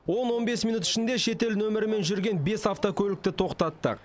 он он бес минут ішінде шетел нөмірімен жүрген бес автокөлікті тоқтаттық